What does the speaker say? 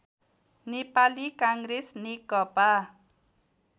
Nepali Congress Nekapa